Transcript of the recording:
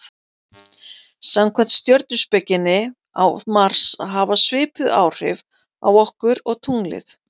Samkvæmt stjörnuspekinni á Mars að hafa svipuð áhrif okkur og tunglið.